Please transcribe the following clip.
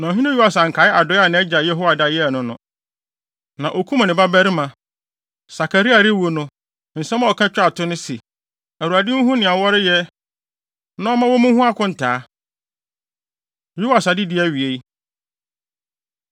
Na ɔhene Yoas ankae adɔe a nʼagya Yehoiada de yɛɛ no no, na okum ne babarima. Sakaria rewu no, nsɛm a ɔka twaa to ne se, “ Awurade nhu nea wɔreyɛ na ɔmma wommu ho akontaa!” Yoas Adedi Awiei